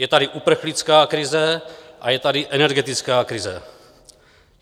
Je tady uprchlická krize a je tady energetická krize.